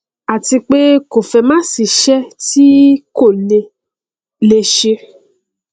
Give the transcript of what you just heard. àti pé kò fẹẹ másìí iṣẹ tí kò lè lè ṣe